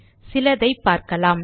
சிலதை பார்க்கலாம்